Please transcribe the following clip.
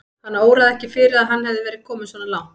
Hana óraði ekki fyrir að hann hefði verið kominn svona langt.